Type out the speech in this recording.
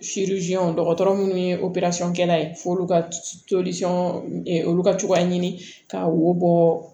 dɔgɔtɔrɔ munnu ye kɛla ye f'olu ka olu ka cogoya ɲini ka wo bɔ